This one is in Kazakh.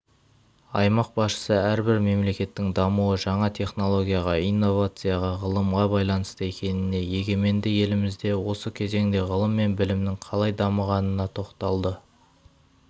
аймақ басшысы әрбір мемлекеттің дамуы жаңа технологияға инновацияға ғылымға байланысты екеніне егеменді елімізде осы кезеңде ғылым мен білімнің қалай дамығанына тоқталды